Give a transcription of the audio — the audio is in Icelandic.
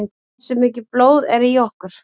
Hversu mikið blóð er í okkur?